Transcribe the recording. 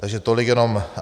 Takže tolik jenom.